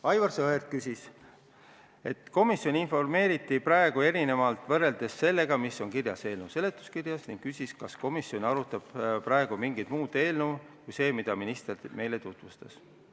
Aivar Sõerd märkis, et komisjoni informeeriti võrreldes sellega, mis on kirjas eelnõu seletuskirjas, teisiti, ning küsis, kas komisjon arutab praegu mingit muud eelnõu, mitte seda, mida minister meile tutvustas.